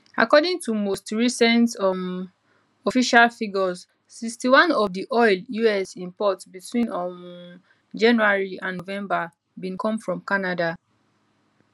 according to most recent um official figures 61 of di oil us import between um january and november bin come from canada